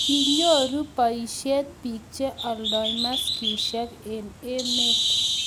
kinyoru boisiet biik che oldoi maskisiek eng' emet